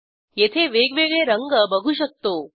येथे वेगवेगळे रंग बघू शकतो